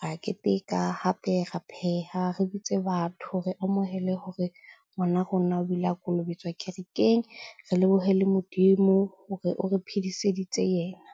Re a keteka, hape re pheha, re bitse batho, re amohele hore ngwana rona o ile a kolobetswa kerekeng. Re lebohe le Modimo hore o re phediseditse yena.